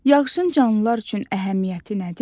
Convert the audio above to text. Yağışın canlılar üçün əhəmiyyəti nədir?